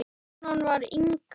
Konan var Inga.